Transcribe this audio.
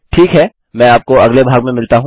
ठीक है मैं आपको अगले भाग में मिलता हूँ